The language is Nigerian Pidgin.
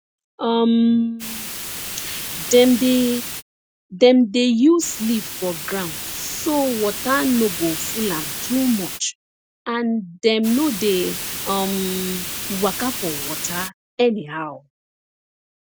um dem dey dem dey use leaf for ground so water no go full am too much and dem no dey um waka for water anyhow